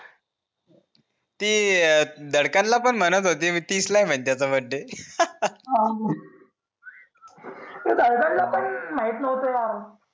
ती दरकाल ला पण म्हणत होती तिसला आहे बर्थडे पण माहित नव्हता